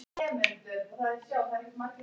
vöruðu hann við að eitthvað væri á seyði.